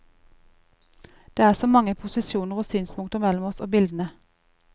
Det er så mange posisjoner og synspunkter mellom oss og bildene.